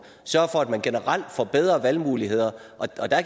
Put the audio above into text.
sørge for at man generelt får bedre valgmuligheder